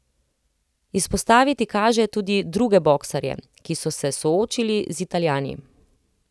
Izpostaviti kaže tudi druge boksarje, ki so se soočili z Italijani.